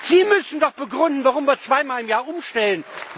Sie müssen doch begründen, warum wir zweimal im Jahr umstellen.